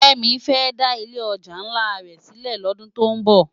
Femi fè dá ilé òjá nlá rè silè lòdún tó n bò